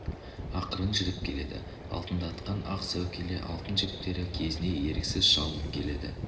ақырын жүріп келеді алтындатқан ақ сәукеле алтын жіптері кезіне еріксіз шалынып келеді